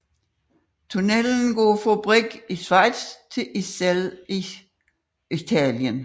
Tunnellen går fra Brig i Schweiz til Iselle i Italien